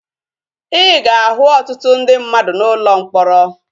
Ị ga-ahụ ọtụtụ ndị mmadụ n'ụlọ mkpọrọ